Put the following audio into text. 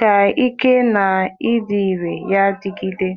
ka ike ya na arụ ọrụ ya dịgide.